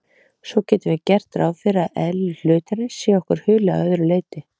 Svo getum við gert ráð fyrir að eðli hlutarins sé okkur hulið að öðru leyti.